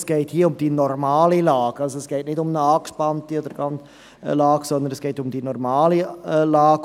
Es geht um die normale Lage, nicht um eine angespannte Lage, sondern um die normale Lage.